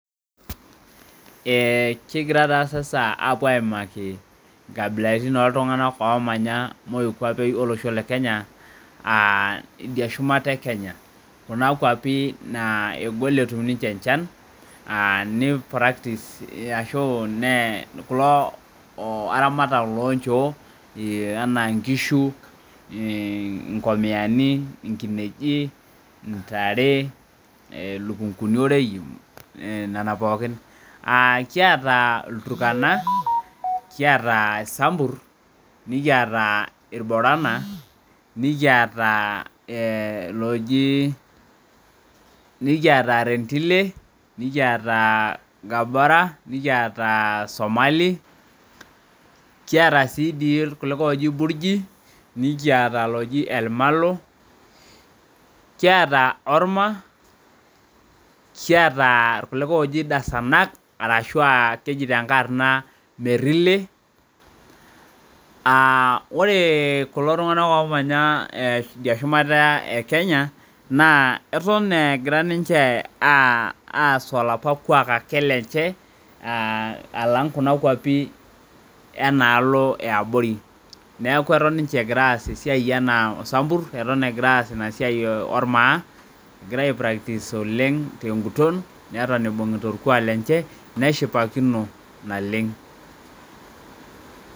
Kigira taa sasa apuo aimaki inkabilaritin oltung'anak omonya moikwapei olosho le Kenya, ah idia shumata e Kenya. Kuna kwapi naa egol etum inche enchan, ni practice ashu kulo aramata lonchoo, anaa nkishu, inkomiyani, inkineji, intare, lukunkuni oreyu, nena pookin. Kiata Ilturkana, kiata Sambur, nikiata Ilborana, nikata loji nikiata Rendile, nikiata Gabora, nikiata Somali, kiata si di kulikae oji Burgi, nikiata loji Elmalo, kiata Orma, kiata kulikae oji Dasanak, arashua leji tenkae arna Merile. Ore kulo tung'anak omanya idia shumata e Kenya, naa eton egira ninche aas olapa kwaak ake lenche, alang kuna kwapi enaalo eabori. Neeku eton ninche egira aas esiai enaa Sambur, eton egira aas inasiai ormaa, egira ai practice teguton, neton ibung'ita orkuak lenche, neshipakino naleng.